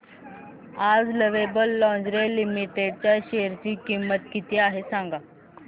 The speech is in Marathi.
आज लवेबल लॉन्जरे लिमिटेड च्या शेअर ची किंमत किती आहे